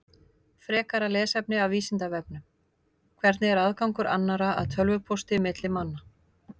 Frekara lesefni af Vísindavefnum: Hvernig er aðgangur annarra að tölvupósti milli manna?